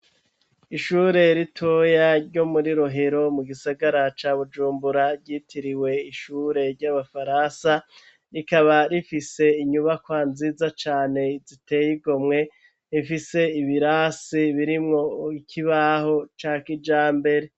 Ishure ritoya ryo muri rohero mu gisagara ca bujumbura ryitiriwe ishure ry'abafaransa, rikaba rifise inyubakwa nziza cane ziteyigomwe ifise ibirasi birimwo ikibaho cakijambere.